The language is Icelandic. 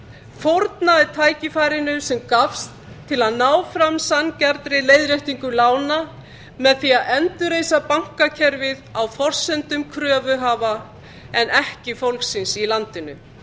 fórnaði tækifærinu sem gafst til að ná fram sanngjarnri leiðréttingu lána með því að endurreisa bankakerfið á forsendum kröfuhafa en ekki fólksins í landinu